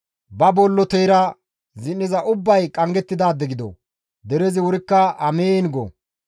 «Ba bolloteyra zin7iza ubbay qanggettidaade gido!» Derezi wurikka, «Amiin» go.